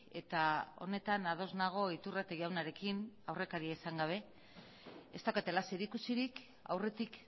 eta honetan ados nago iturrate jaunarekin aurrekaria izan gabe ez daukatela zerikusirik aurretik